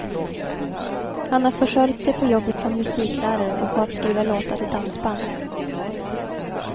Han har försörjt sig på jobbet som musiklärare och på att skriva låtar till dansband.